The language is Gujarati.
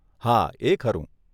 હા, એ ખરું.